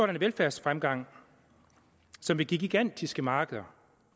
velfærdsfremgang som vil give gigantiske markeder